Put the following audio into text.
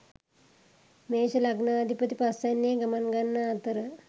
මේෂ ලග්නාධිපති පස්‌වැන්නේ ගමන් ගන්නා අතර